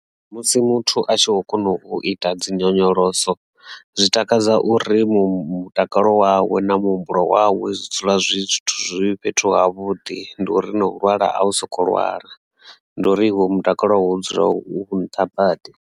Musi muthu a tshi kho kona u ita dzi nyonyoloso zwi takadza uri mutakalo wawe na muhumbulo wawe zwi dzula zwi zwithu zwi fhethu ha vhuḓi ndi uri na hu lwala a u soko lwala ndi uri iwe mutakalo wau u dzula u nṱha badi.